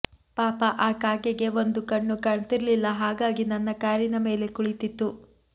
ಪಾಪ ಆ ಕಾಗೆಗೆ ಒಂದು ಕಣ್ಣು ಕಾಣ್ತಿರ್ಲಿಲ್ಲಾ ಹಾಗಾಗಿ ನನ್ನ ಕಾರಿನ ಮೇಲೆ ಕುಳಿತಿತ್ತು